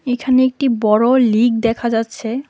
এইখানে একটি বড় লিগ দেখা যাচ্ছে।